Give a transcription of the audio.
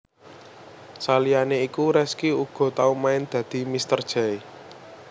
Saliyané iku Rezky uga tau main dadi mr jay